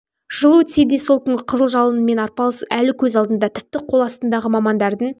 жыл өтсе де сол күнгі қызыл жалынмен арпалыс әлі көз алдында тіпті қол астындағы мамандардың